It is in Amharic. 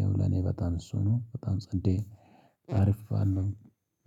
ያው ለኔ በጣም እሱ ነው በጣም ጸዴ አሪፍ ባል ነው